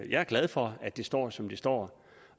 jeg er glad for at det står som det står